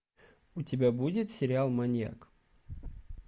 у тебя будет сериал маньяк